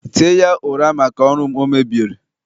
tie ya ụra maka ọrụ m o mebieri